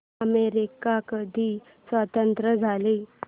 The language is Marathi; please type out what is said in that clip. अमेरिका कधी स्वतंत्र झाला